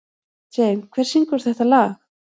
Jane, hver syngur þetta lag?